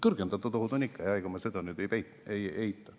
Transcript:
Kõrgendatud ohud on ikka, ega ma seda ei eita.